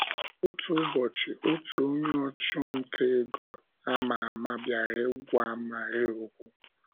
Otu ụbọchị, otu onye ọchụ nta ego ámá ámá bịara ịgwa Maria okwu.